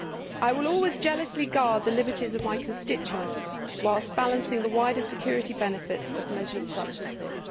I will always jealously guard the liberties of my constituents whilst balancing the wider security benefits of measures such as this.